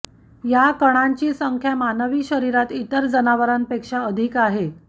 या कणांची संख्या मानवी शरीरात इतर जनावरांपेक्षा अधिक आहे